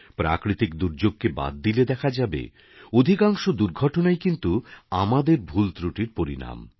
প্রাকৃতিক দুর্যোগকে বাদ দিলে দেখা যাবে অধিকাংশ দুর্ঘটনাই কিন্তু আমাদের ভুল ত্রুটির পরিণাম